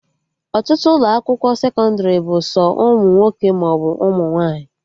Ọtụtụ ụlọ akwụkwọ sekọndrị bụ sọ ụmụ nwoke maọbụ ụmụ nwaanyị